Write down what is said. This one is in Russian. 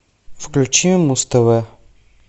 включи муз тв